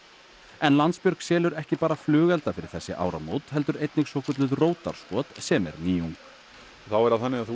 en Landsbjörg selur ekki bara flugelda fyrir þessi áramót heldur einnig svokallað sem er nýjung og þá er það þannig að þú